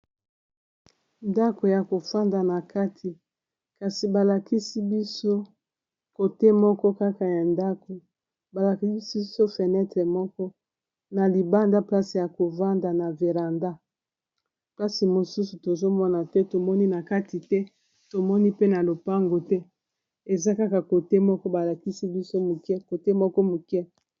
ndako ya kofanda na kati kasi balakisi biso kote moko kaka ya ndako balakisi biso fenetre moko na libanda place ya kofanda na veranda place mosusu tozomona te tomoni na kati te tomoni pe na lopango te eza kaka kote moko balakisi biso kote moko moke